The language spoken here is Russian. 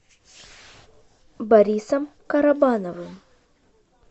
борисом карабановым